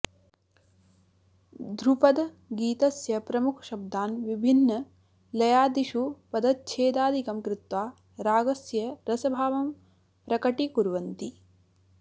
ध्रुपद गीतस्य प्रमुखशब्दान् विभिन् लयादिषु पदच्छेदादिकं कृत्वा रागस्य रसभावं प्रकटीकुर्वन्ति